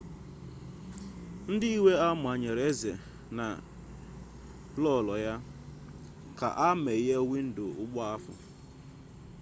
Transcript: ndị iwe a manyere eze na queen ka ha meghee windo ụgbọ ha